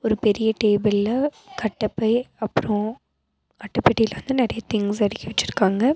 பெரிய டேபிள்ல கட்டபை அப்றோ அட்டப்பெட்டில வந்து நெறைய திங்ஸ் அடுக்கி வச்சுருக்காங்க.